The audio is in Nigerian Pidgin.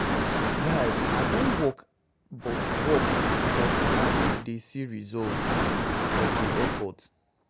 Guy, I don work but work but I no dey see the result of the effort.